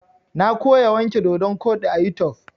Na koya wanke dodon koɗi a YouTube.